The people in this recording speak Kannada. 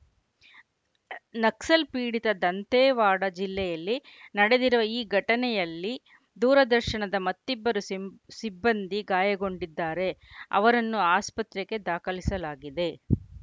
ನಕ್ಸಲ್‌ಪೀಡಿತ ದಂತೇವಾಡ ಜಿಲ್ಲೆಯಲ್ಲಿ ನಡೆದಿರುವ ಈ ಘಟನೆಯಲ್ಲಿ ದೂರದರ್ಶನದ ಮತ್ತಿಬ್ಬರು ಸಿಬ್ ಸಿಬ್ಬಂದಿ ಗಾಯಗೊಂಡಿದ್ದಾರೆ ಅವರನ್ನು ಆಸ್ಪತ್ರೆಗೆ ದಾಖಲಿಸಲಾಗಿದೆ